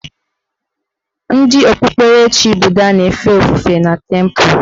Ndị okpukperechi buda na-efe ofufe na tempụ